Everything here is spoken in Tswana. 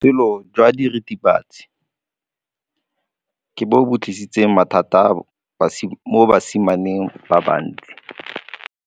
Botshelo jwa diritibatsi ke bo tlisitse mathata mo basimaneng ba bantsi.